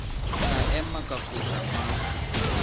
ka ema ka foša mahlo